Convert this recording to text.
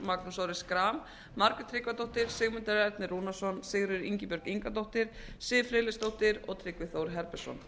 magnús orri schram margrét tryggvadóttir sigmundur ernir rúnarsson sigríður ingibjörg ingadóttir siv friðleifsdóttir og tryggvi þór herbertsson